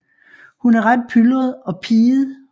Hun er ret pyldret og piget